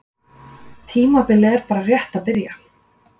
Tímabilið er bara rétt að byrja.